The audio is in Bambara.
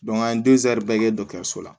an ye kɛ la